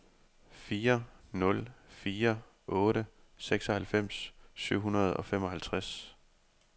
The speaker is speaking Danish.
fire nul fire otte seksoghalvfems syv hundrede og femoghalvtreds